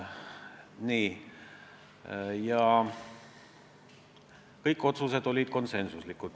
Nagu ütlesin, kõik otsused olid konsensuslikud.